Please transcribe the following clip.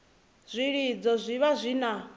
zwilidzo zwi vha zwi na